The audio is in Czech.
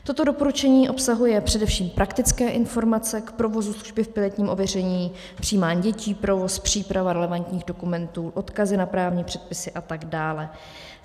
Toto doporučení obsahuje především praktické informace k provozu služby v pilotním ověření, přijímání dětí, provoz, přípravu relevantních dokumentů, odkazy na právní předpisy a tak dále.